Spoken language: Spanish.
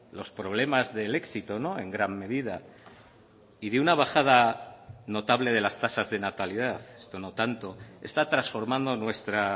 los problemas del éxito en gran medida y de una bajada notable de las tasas de natalidad esto no tanto está transformando nuestra